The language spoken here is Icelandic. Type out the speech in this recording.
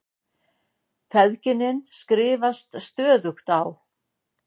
Feðginin skrifast stöðugt á.